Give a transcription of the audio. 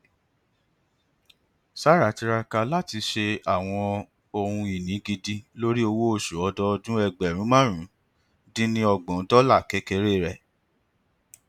sarah tiraka lati ṣe awọn ohunini gidi lori owooṣu ọdọọdun ẹgbẹrún máàrún din ní ọgbọn dọlà kekere rẹ